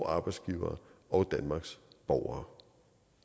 arbejdsgivere og danmarks borgere